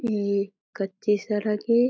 ये कच्चे सरक ए।